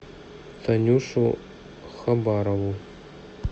танюшу хабарову